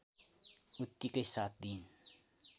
उतिकै साथ दिइन्